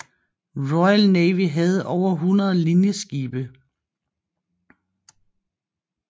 Royal Navy havde over 100 linjeskibe